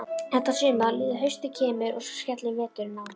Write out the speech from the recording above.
Þetta sumar líður, haustið kemur og svo skellur veturinn á.